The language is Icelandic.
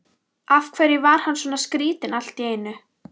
Af hverju var hann svona skrýtinn allt í einu?